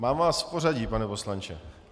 Mám vás v pořadí, pane poslanče.